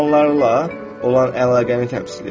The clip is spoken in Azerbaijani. Okeanlarla olan əlaqəni təmsil edir.